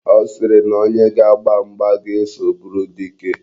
Ọ sịrị na onye ga-agba mgba ga-eso bụrụ dike.